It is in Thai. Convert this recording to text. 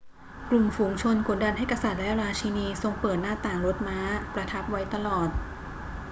กลุ่มฝูงชนกดดันให้กษัตริย์และราชีนีทรงเปิดหน้าต่างรถม้าประทับไว้ตลอด